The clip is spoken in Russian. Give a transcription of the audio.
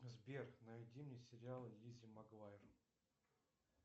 сбер найди мне сериал лиззи магуайер